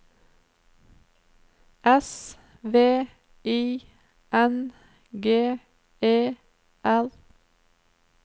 S V I N G E R